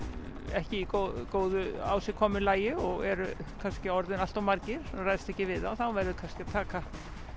ekki í góðu ásigkomulagi og eru kannski orðnir allt of margir og ræðst ekki við þá þá verður kannski að taka